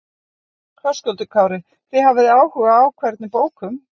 Höskuldur Kári: Þið hafið áhuga á hvernig bókum?